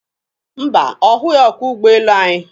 Mba, ọ hụghị ọkwọ ụgbọelu anyị.